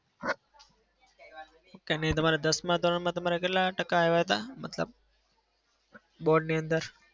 તમે તમારા દસમાં ધોરણમાં તમારાં કેટલા ટકા આવ્યા હતા? મતલબ board ની અંદર?